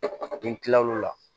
N kila lo la